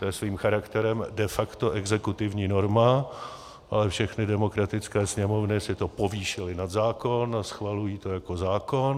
To je svým charakterem de facto exekutivní norma a všechny demokratické sněmovny si to povýšily na zákon a schvalují to jako zákon.